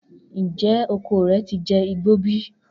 Njẹ oko rẹ ti jẹ igbo bi?